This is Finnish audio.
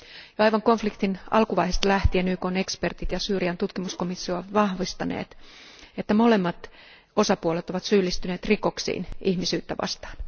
Jo aivan konfliktin alkuvaiheesta lähtien YKn ekspertit ja Syyrian tutkimuskomissio ovat vahvistaneet, että molemmat osapuolet ovat syyllistyneet rikoksiin ihmisyyttä vastaan.